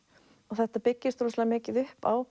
þetta byggist rosalega mikið upp á